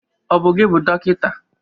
Ọ bụ gị bụ dọkịta?